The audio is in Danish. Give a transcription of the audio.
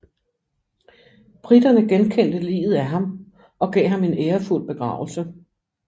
Briterne genkendte liget af ham og gav ham en ærefuld begravelse